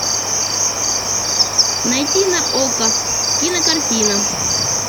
найти на окко кинокартина